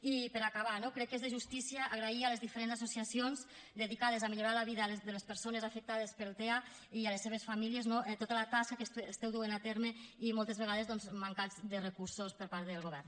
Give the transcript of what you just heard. i per acabar no crec que és de justícia agrair a les diferents associacions dedicades a millorar la vida de les persones afectades pel tea i a les seves famílies tota la tasca que esteu duent a terme i moltes vegades doncs mancats de recursos per part del govern